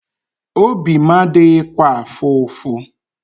Obi m adịghịkwa afụ ụfụ.